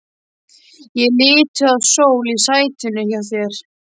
Ég er lituð af sól í sætinu hjá þér.